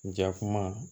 Jakuma